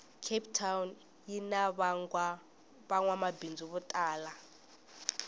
cape town yinavangwamabhindzu votala